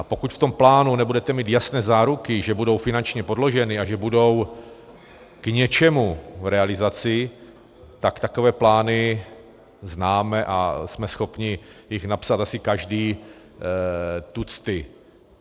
A pokud v tom plánu nebudete mít jasné záruky, že budou finančně podloženy a že budou k něčemu v realizaci, tak takové plány známe a jsme schopni jich napsat asi každý tucty.